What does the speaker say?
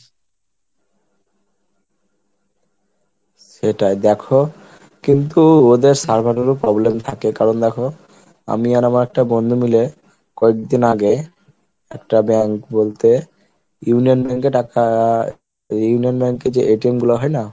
সেটাই দেখো কিন্তু ওদের server এর ও problem থাকে কারণ দেখো আমি আর আমার একটা বন্ধু মিলে কয়েকদিন আগে একটা bank বলতে Union bank এ টাকা Union bank এ যে গুলো হয় না?